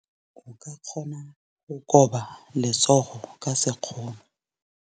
O ka kgona go koba letsogo ka sekgono.